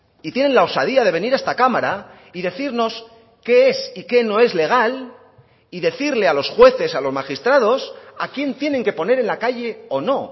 y tienen la osadía de venir a esta cámara y decirnos qué es y que no es legal y decirle a los jueces a los magistrados a quién tienen que poner en la calle o no